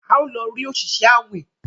a o lọ rí Oṣiṣẹ awin.